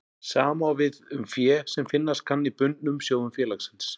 Sama á við um fé sem finnast kann í bundnum sjóðum félagsins.